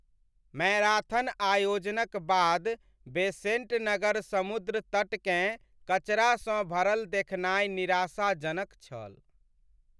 Marathon आयोजनक बाद बेसेंट नगर समुद्र तट केँ कचरा सँ भरल देखनाइ निराशाजनक छल।